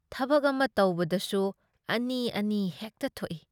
ꯊꯕꯛ ꯑꯃ ꯇꯧꯕꯗꯁꯨ ꯑꯅꯤ ꯑꯅꯤ ꯍꯦꯛꯇ ꯊꯣꯛꯏ ꯫